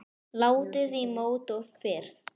Látið í mót og fryst.